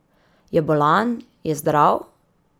Je bolan, je zdrav?